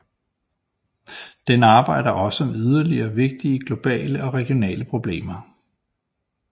Den arbejder også med yderligere vigtige globale og regionale problemer